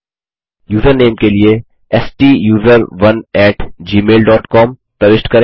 username के लिए स्टूसरोन एटी जीमेल डॉट कॉम प्रविष्ट करें